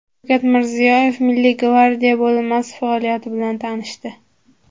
Shavkat Mirziyoyev Milliy gvardiya bo‘linmasi faoliyati bilan tanishdi.